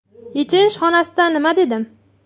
Yechinish xonasida nima dedim?